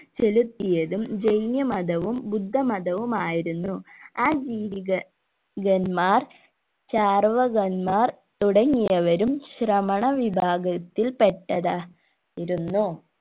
ചെലുത്തിയതും ജൈന മതവും ബുദ്ധമതവും ആയിരുന്നു ചിന്തിക കന്മാർ ചാർവകൻമാർ തുടങ്ങിയവരും ശ്രമണ വിഭാഗത്തിൽ പെട്ടതാ യിരുന്നു